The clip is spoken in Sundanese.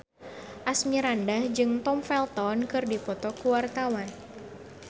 Asmirandah jeung Tom Felton keur dipoto ku wartawan